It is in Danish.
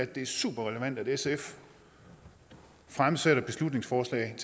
det er superrelevant at sf fremsætter beslutningsforslaget